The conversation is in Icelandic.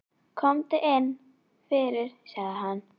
Komdu inn fyrir, sagði hann.